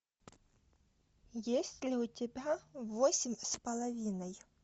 есть ли у тебя восемь с половиной